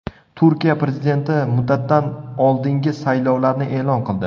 Turkiya prezidenti muddatidan oldingi saylovlarni e’lon qildi.